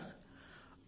మీకు తెలుసా